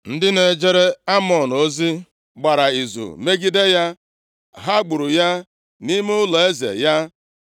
Ndị na-ejere Amọn ozi gbara izu megide ya, ha gburu ya nʼime ụlọeze ya.